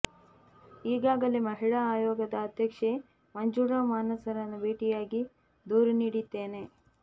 ಈಗಾಗಲೇ ಮಹಿಳಾ ಆಯೋಗದ ಅಧ್ಯಕ್ಷೆ ಮಂಜುಳಾ ಮಾನಸರನ್ನು ಭೇಟಿಯಾಗಿ ದೂರು ನೀಡಿದ್ದೇನೆ